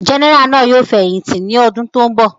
Gẹ́nẹrà náà yóò fẹ̀yìntì ní ọdún tó ń bọ̀.